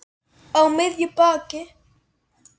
Á miðju baki.